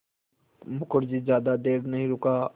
मुखर्जी ज़्यादा देर नहीं रुका